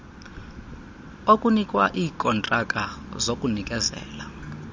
okunikwa iikontraka zokunikezela